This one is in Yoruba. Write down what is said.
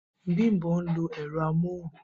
Bimpe ń lo ẹ̀rọ amóhùn